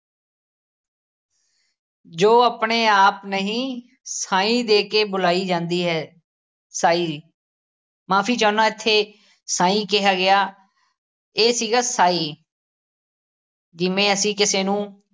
ਜੋ ਆਪਣੇ ਆਪ ਨਹੀ ਸਾਈਂ ਦੇ ਕੇ ਬੁਲਾਈ ਜਾਂਦੀ ਹੈ, ਸਾਈ, ਮਾਫੀ ਚਾਹੁੰਦਾ ਇੱਥੇ ਸਾਈਂ ਕਿਹਾ ਗਿਆ ਇਹ ਸੀਗਾ ਸਾਈ ਜਿਵੇਂ ਅਸੀ ਕਿਸੇ ਨੂੰ